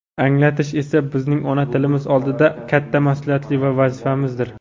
anglatish esa bizning ona tilimiz oldidagi katta mas’uliyat va vazifamizdir.